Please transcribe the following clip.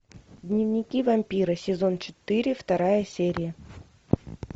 дневники вампира сезон четыре вторая серия